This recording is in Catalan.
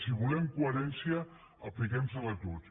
si volem coherència apliquem nos la tots